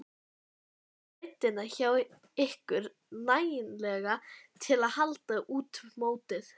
Telurðu breiddina hjá ykkur nægilega til að halda út mótið?